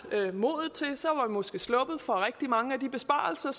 modet til det så var vi måske sluppet for rigtig mange af de besparelser